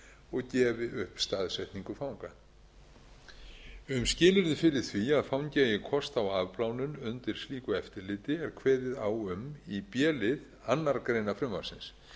og gefi upp staðsetningu fanga um skilyrði fyrir því að fangi eigi kost á afplánun undir slíku eftirliti er kveðið á um í d lið annarrar greinar frumvarpsins